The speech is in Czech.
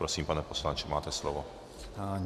Prosím, pane poslanče, máte slovo.